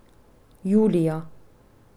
Julija.